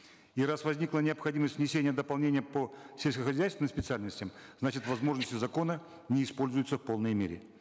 и раз возникла необходимость внесения дополнения по сельскохозяйственным специальностям значит возможности закона не используются в полной мере